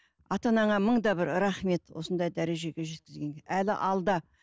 ата анаңа мыңда бір рахмет осындай дәрежеге жеткізгенге әлі алда